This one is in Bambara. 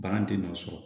Bagan tɛ nɔ sɔrɔ